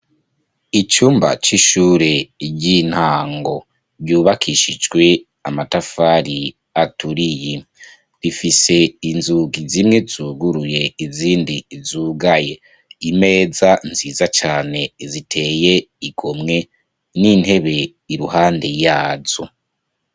Icumba c'ishure ry'intango, ryubakishijwe Amatafari aturiye, rifise inzugi zine zuguruye, izindi zugaye, Imeza nziza cane iteye igomwe, nintebe iruhande yazo.